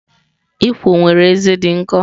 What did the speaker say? Ikwo nwere ezé dị nkọ.